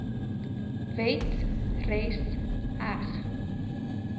wet res heg